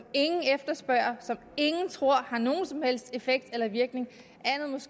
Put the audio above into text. ingen efterspørger og som ingen tror har nogen som helst effekt eller virkning